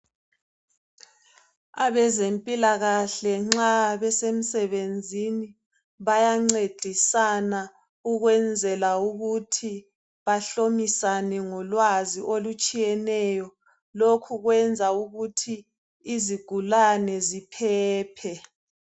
Abezempilakahle nxa besemsebenzini bayancedisana ukwenzela ukuthi bahlomisane ngolwazi olutshiyeneyo, lokhu kwenza ukuthi izigulane ziphephe.